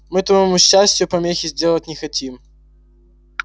мы твоему счастию помехи сделать не хотим